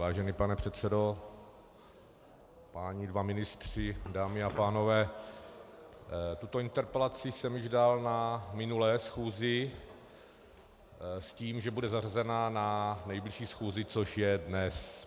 Vážený pane předsedo, páni dva ministři, dámy a pánové, tuto interpelaci jsem dal již na minulé schůzi s tím, že bude zařazena na nejbližší schůzi, což je dnes.